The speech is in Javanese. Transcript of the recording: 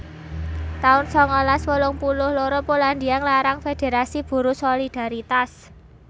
taun sangalas wolung puluh loro Polandia nglarang federasi buruh Solidaritas